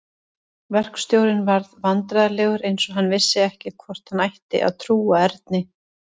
Verkstjórinn varð vandræðalegur eins og hann vissi ekki hvort hann ætti að trúa Erni.